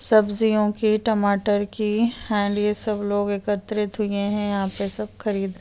सब्जियों के टमाटर सब लोग एकत्रित हुवे हैं। यहाँ पे सब खरीद --